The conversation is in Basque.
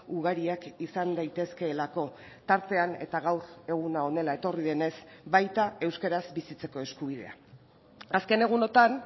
ugariak izan daitezkeelako tartean eta gaur eguna honela etorri denez baita euskaraz bizitzeko eskubidea azken egunotan